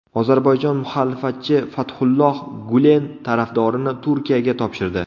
Ozarbayjon muxolifatchi Fathulloh Gulen tarafdorini Turkiyaga topshirdi.